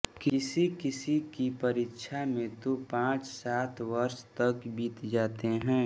किसी किसी की परीक्षा में तो पाँच सात वर्ष तक बीत जाते हैं